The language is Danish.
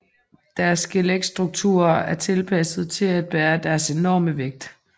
Deres skeletstrukturer er tilpasset til at bære deres enorme vægt